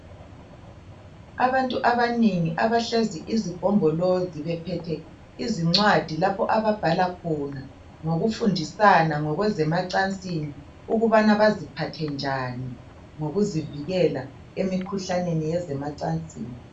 Abantu abanengi abahlezi izigombolozi bephethe izincwadi lapho ababhala khona ngokufundisana ngezemacansini ukubana baziphathe njani ngokuzivikela emikhuhlaneni yasemacansini.